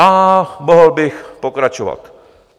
A mohl bych pokračovat.